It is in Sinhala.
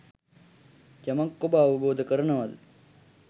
යමක් ඔබ අවබෝධ කරනවද